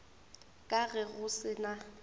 ka ge go se na